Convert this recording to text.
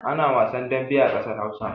Ana wasan dambe a ƙasar Hausa.